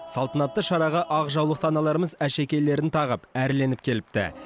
салтанатты шараға ақ жаулықты аналарымыз әшекейлерін тағып әрленіп келіпті